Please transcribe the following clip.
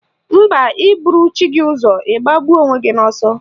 Mba, ị buru chi gị ụzọ ị gbagbuo onwe gị n'ọsọ